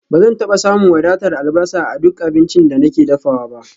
Ba zan taba samun wadatar albasa a duk abincin da nake dafawa ba